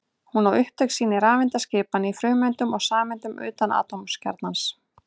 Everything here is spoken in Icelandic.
Hún á upptök sín í rafeindaskipan í frumeindum og sameindum utan atómkjarnans.